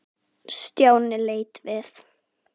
Stjáni leit við.